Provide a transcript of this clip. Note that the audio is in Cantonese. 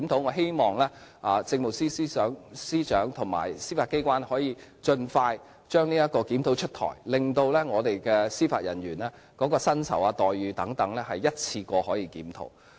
我希望政務司司長和司法機關能盡快把這項檢討出台，令司法人員的薪酬、待遇等可一併作出檢討。